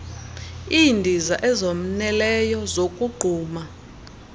iindiza ezoneleyo zokogquma